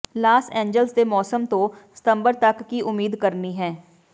Las Angeles ਦੇ ਮੌਸਮ ਤੋਂ ਸਤੰਬਰ ਤੱਕ ਕੀ ਉਮੀਦ ਕਰਨੀ ਹੈ